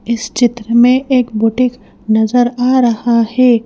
इस चित्र में एक बुटीक नजर आ रहा है।